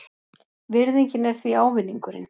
Virðingin er því ávinningurinn.